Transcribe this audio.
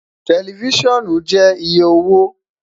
Tẹlifisiọnu jẹ iye owo